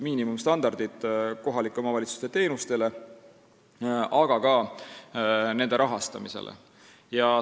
Võiks saada kohalike omavalitsuste teenuste ja ka nende rahastamise kohustuslikud miinimumstandardid.